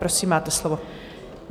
Prosím, máte slovo.